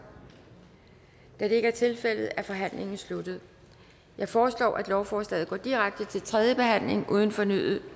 da det ikke er tilfældet er forhandlingen sluttet jeg foreslår at lovforslaget går direkte til tredje behandling uden fornyet